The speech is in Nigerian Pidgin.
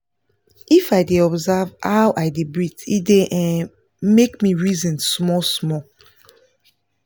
if i dey observe how i dey breath e dy um make me reason small small